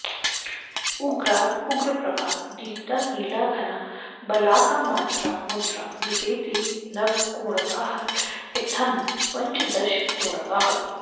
उग्रा उग्रप्रभा दीप्ता नीला घना बलाका मात्रा मुद्रा मितेति नवकोणगाः इत्थम्पञ्चदशकोणगाः